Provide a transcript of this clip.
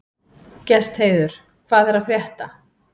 Gestheiður, hvað er að frétta?